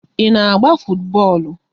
Ị na-agba futubọọlụ?